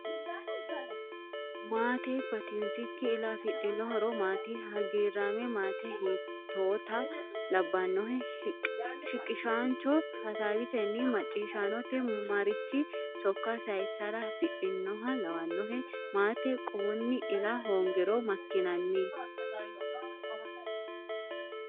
Maate batinsikki ila afidhino horo maati? Hagiirraame maate hiittoota labbannohe? Shiqishaancho hasaawisenni macciishaanote marichi sokka sayissara hasidhinoha lawannohe? Maate quwunni ila hoongiro makkinanni?